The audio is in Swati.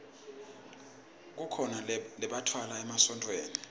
kukhona lembatfwa emasontfweni